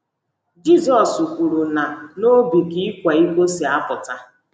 Jizọs kwuru na ‘ n’obi ka ịkwa iko si apụta. ’